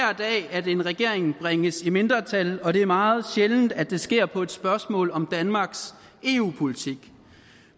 at en regering bringes i mindretal og det er meget sjældent at det sker på et spørgsmål om danmarks eu politik